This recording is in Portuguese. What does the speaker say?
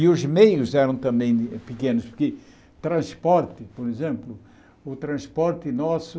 E os meios eram também pequenos, porque transporte, por exemplo, o transporte nosso...